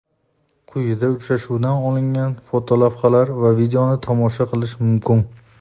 Quyida uchrashuvdan olingan fotolavhalar va videoni tomosha qilish mumkin.